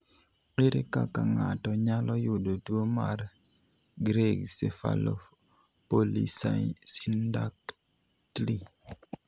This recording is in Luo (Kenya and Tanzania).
Ere kaka ng'ato nyalo yudo tuo mar Greig cephalopolysyndactyly?